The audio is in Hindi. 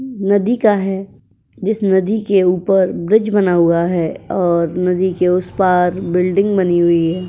नदी का है। जिस नदी के ऊपर ब्रिज बना हुआ है और नदी के उसपार बिल्डिंग बनी हुई है।